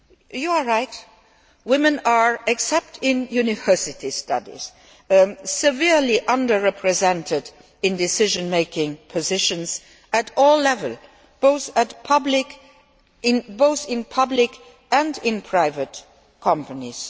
You are right women are, except in university studies, severely under represented in decision making positions at all levels, both in public and in private companies.